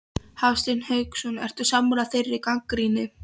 Hafsteinn Hauksson: Ertu sammála þeirri gagnrýni?